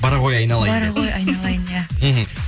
бара ғой айналайын бара ғой айналайын иә мхм